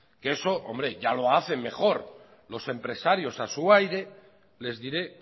eso hombre ya lo hacen mejor los empresarios a su aire les diré